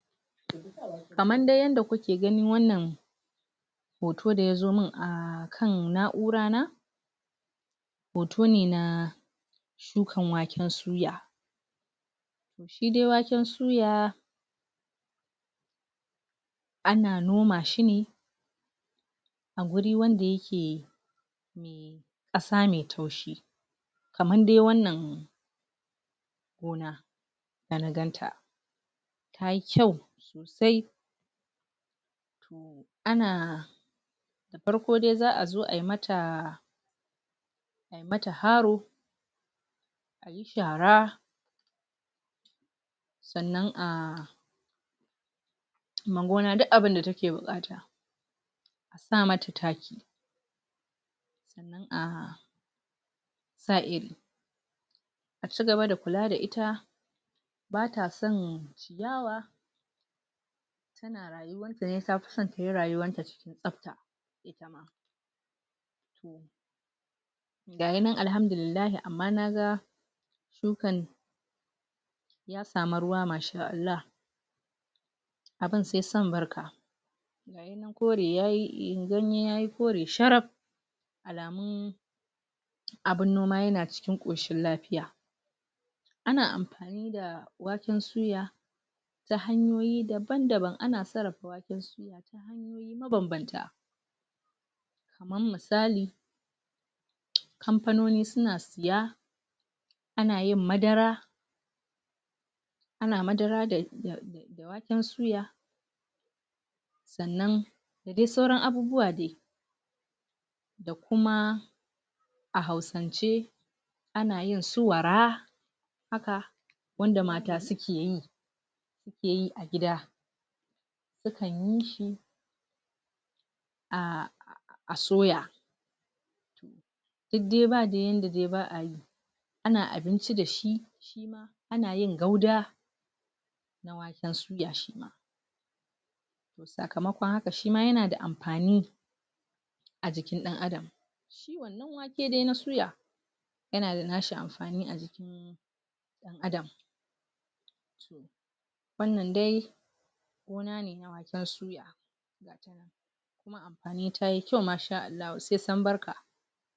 Kaman dai yanda ku ke ganin wannan hoto da ya zo mun a kan naura na hoto ne na shukan waken suya shi dai waken suya a na noma shi ne a guri wanda ya ke kasa mai taushi kaman dai wannan gona da na gan ta ya yi kyau sosai a na farko dai za a zo a yi mata a yi mata haro shara sannan ah ma gona duk abunda ta ke bukata sa mata takki ah a cigaba da kulla da ita ba ta san ciyawa ta na rayuwarta ne, ta fi san tayi rayuwar ta ne cikin kasa ita ma, ga yi nan alhamdullilahi amma na ga shukan ta samar ruwa, masha Allah abun sai san barka sannan in kore ya yi, un gani ya yi kore shuru allamun abun noma ya na cikin koshin lafiya a na amfani da waken suya ta hanyoyi daban-daban, a na tsarafa waken suya mabanbanta kaman mitsali kampanoni su na tsiya ana yin madara a na madara da da waken soya sannan duk sauran abubuwa dai da kuma a hausance a na yin su wara haka, wanda mata su ke yi su ke yi a gida su kan yi shi ah ah tsoya duk dai, ba dai yanda dai baa a na abinci da shi, a na yin gauda da wanda su ga shi nan saƙamaƙon haka shi ma ya na da amfani a jikin dan Adam. Shi wannan wake da na soya ya na da nashi amfani a jikin dan Adam wannan dai amfani ta yi kyau masha Allah. Sai san barka.